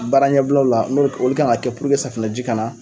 Baara ɲɛbilaw la no olu kan k'a kɛ puruke safunɛji kana